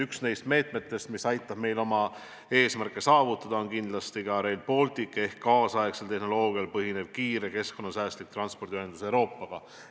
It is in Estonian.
Üks nendest meetmetest, mis aitab meil oma eesmärke saavutada, on kindlasti Rail Baltic ehk kaasaegsel tehnoloogial põhinev kiire keskkonnasäästlik transpordiühendus muu Euroopaga.